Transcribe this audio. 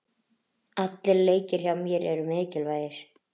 Allir leikir hjá mér eru mikilvægir.